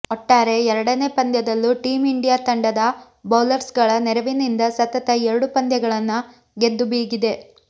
ಒಟ್ಟಾರೆ ಎರಡನೇ ಪಂದ್ಯದಲ್ಲೂ ಟೀಂ ಇಂಡಿಯಾ ತಂಡದ ಬೌಲರ್ಸ್ಗಳ ನೆರವಿನಿಂದ ಸತತ ಎರಡು ಪಂದ್ಯಗಳನ್ನ ಗೆದ್ದು ಬೀಗಿದೆ